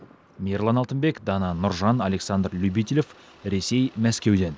мейірлан алтынбек дана нұржан александр любителев ресей мәскеуден